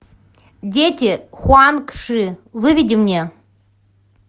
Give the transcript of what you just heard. дети хуанг ши выведи мне